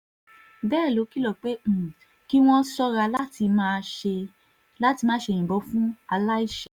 bẹ́ẹ̀ ló kìlọ̀ pé um kí wọ́n ṣọ́ra láti má ṣe yìnbọn lu aláìṣẹ̀ um